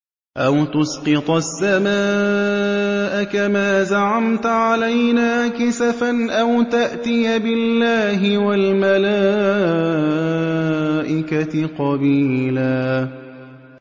أَوْ تُسْقِطَ السَّمَاءَ كَمَا زَعَمْتَ عَلَيْنَا كِسَفًا أَوْ تَأْتِيَ بِاللَّهِ وَالْمَلَائِكَةِ قَبِيلًا